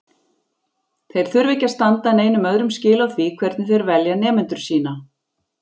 Þeir þurfa ekki að standa neinum öðrum skil á því hvernig þeir velja nemendur sína.